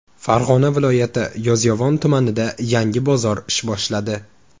Farg‘ona viloyati Yozyovon tumanida yangi bozor ish boshladi.